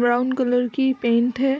Brown colour की paint है।